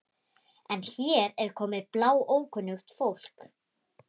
En hér er komið bláókunnugt fólk.